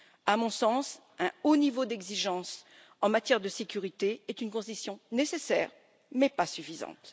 À mon sens, un haut niveau d'exigence en matière de sécurité est une condition nécessaire, mais pas suffisante.